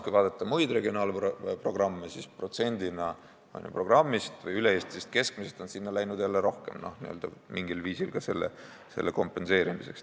Kui vaadata muid regionaalprogramme, siis protsendina on üle-eestilisest keskmisest sinna läinud jälle rohkem, n-ö mingil viisil selle kompenseerimiseks.